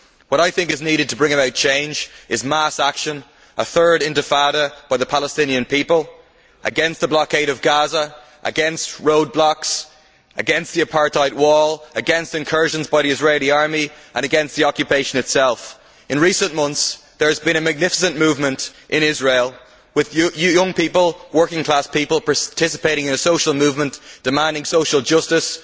What I think is needed to bring about change is mass action, a third intifada by the Palestinian people against the blockade of Gaza, against roadblocks, against the apartheid wall, against incursions by the Israeli army and against the occupation itself. In recent months, there has been a magnificent movement in Israel with young people working class people participating in a social movement demanding social justice.